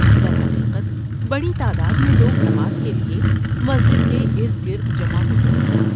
درحقیقت بڑی تعداد میں لوگ نماز کے لیے مسجد کے ارد گرد جمع ہوتے ہیں۔